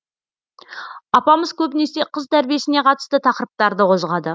апамыз көбінесе қыз тәрбиесіне қатысты тақырыптарды қозғады